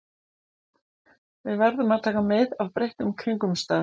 Við verðum að taka mið af breyttum kringumstæðum.